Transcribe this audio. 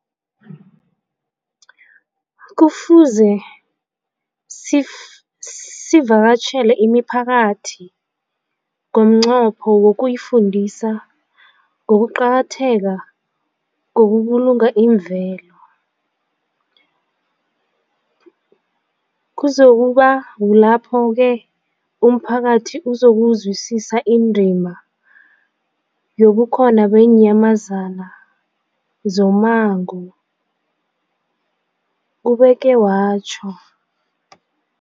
Kufuze sivakatjhele imiphakathi ngomnqopho wokuyifundisa ngokuqakatheka kokubulunga imvelo. Kuzoku ba kulapho-ke umphakathi uzokuzwisisa indima yobukhona beenyamazana zommango, ubeke watjho.